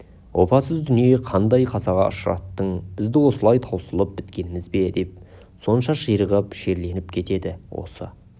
опасыз дүние қандай қазаға ұшыраттың бізді осылай таусылып біткеніміз бе деп сонша ширығып шерленіп кетеді осы